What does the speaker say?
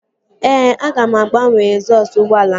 Ee, aga m agbanwe egzọsụ ụgbọala ahụ